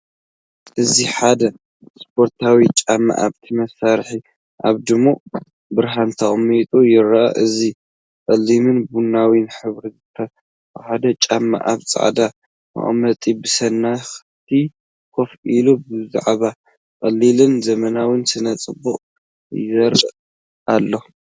እዚ ሓደ ስፖርታዊ ጫማ ኣብቲ መስመር ኣብ ድሙቕ ብርሃን ተቐሚጡ ይርአ። እዚ ጸሊምን ቡናውን ሕብሪ ዝተዋሃሃደ ጫማ ኣብ ጻዕዳ መቀመጢ ብስኒት ኮፍ ኢሉ፡ ብዛዕባ ቀሊልን ዘመናውን ስነ-ጽባቐ ይዛረብ ኣሎ።